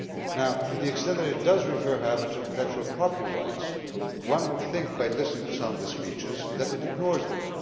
However, to the extent that it does refer to intellectual property rights, one would think by listening to some of the speeches that it ignores them.